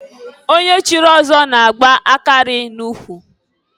Onye chiri ọzọ na-agba akarị na ụkwụ.